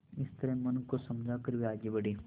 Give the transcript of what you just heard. इस तरह मन को समझा कर वे आगे बढ़े